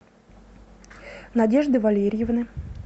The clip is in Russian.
надежды валерьевны